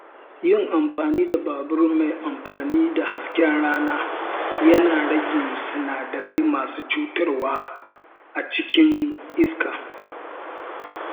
Yin amfani da babur mai amfani da hasken rana yana rage sinadarai masu cutarwa a cikin iska